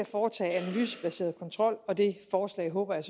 foretage en analysebaseret kontrol og det forslag håber jeg